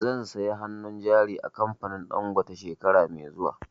Zan saya hannun jari a kamfanin Dangote shekara mai zuwa